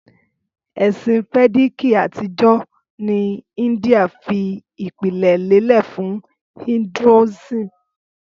Ẹsin Vediki atijọ ni India fi ipilẹ lelẹ fun Hinduism.